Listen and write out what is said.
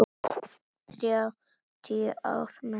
Þrjátíu ár með henni.